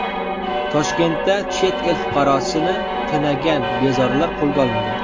Toshkentda chet el fuqarosini tunagan bezorilar qo‘lga olindi.